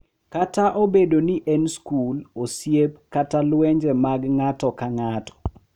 Kata obedo ni en skul, osiep, kata lwenje mag ng’ato ka ng’ato—